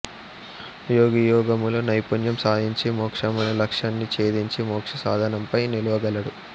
యోగి యోగములో నైపుణ్యం సాధించి మోక్షం అనే లక్ష్యాన్ని చేదించి మోక్ష సౌధంపైన నిలువగలడు